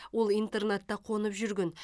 ол интернатта қонып жүрген